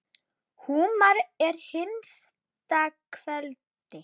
Húmar að hinsta kveldi.